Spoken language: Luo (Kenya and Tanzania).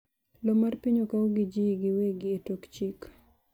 Lowo mar piny okau gi ji giwegi e tok chik